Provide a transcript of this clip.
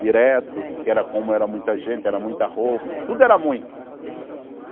Direto, que era como era muita gente, era muita roupa, tudo era muito.